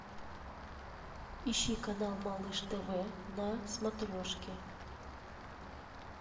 ищи канал малыш тв на смотрешке